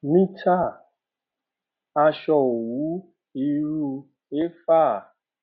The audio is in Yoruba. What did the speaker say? mita aṣọ owu iru a efa